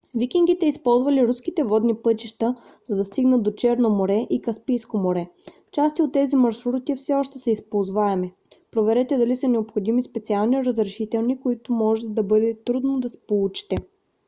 викингите използвали руските водни пътища за да стигнат до черно море и каспийско море. части от тези маршрути все още са използваеми. проверете дали са необходими специални разрешителни които може да бъде трудно да получите